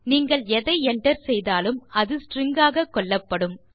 நீங்கள் எதை enter செய்தாலும் அது ஸ்ட்ரிங் ஆக கொள்ளப்படும்